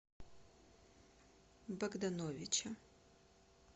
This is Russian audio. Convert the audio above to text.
богдановича